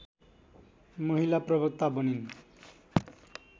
महिला प्रवक्ता बनिन्